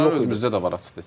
Bizdə də var, açığı desək.